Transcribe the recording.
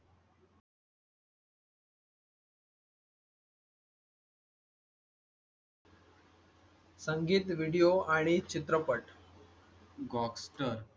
संगीत, video आणि चित्रपट. gockster